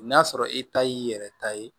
N'a sɔrɔ i ta y'i yɛrɛ ta ye